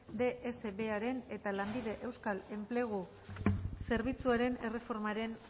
dsbearen eta lanbide euskal enplegu zerbitzuaren erreformaren